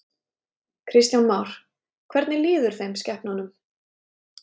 Kristján Már: Hvernig líður þeim, skepnunum?